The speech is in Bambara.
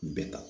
Bɛɛ ta